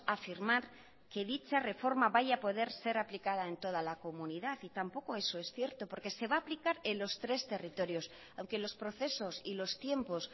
afirmar que dicha reforma vaya a poder ser aplicada en toda la comunidad y tampoco eso es cierto porque se va a aplicar en los tres territorios aunque los procesos y los tiempos